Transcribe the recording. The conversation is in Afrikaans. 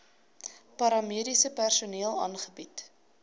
paramediese personeel aangebied